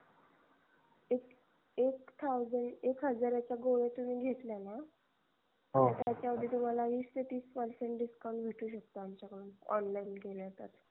एक thousand एक हजारच्या गोळ्या तुम्ही घेतल्या न त्याच्या वरती तुम्हाला वीस ते तीस percentage discount भेटू शकतो आमच्याकडून online केल्या तर